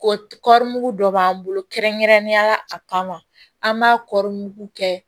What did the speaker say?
Korougu dɔ b'an bolo kɛrɛnkɛrɛnnenya la a kama an b'a kɔɔri kɛ